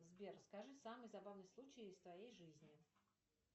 сбер скажи самый забавный случай из твоей жизни